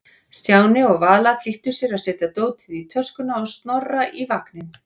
Stjáni og Vala flýttu sér að setja dótið í töskuna og Snorra í vagninn.